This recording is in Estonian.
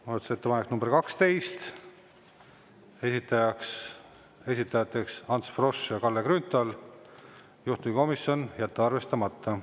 Muudatusettepanek nr 12, esitajateks Ants Frosch ja Kalle Grünthal, juhtivkomisjon: jätta arvestamata.